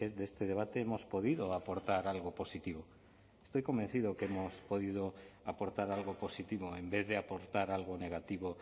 de este debate hemos podido aportar algo positivo estoy convencido que hemos podido aportar algo positivo en vez de aportar algo negativo